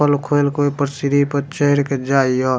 चप्पल लोग खोल के ओय पर सीढ़ी पर चढ़ के जाय ये --